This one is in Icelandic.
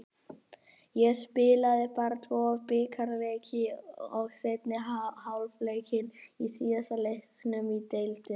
Ég spilaði bara tvo bikarleiki og seinni hálfleikinn í síðasta leiknum í deildinni.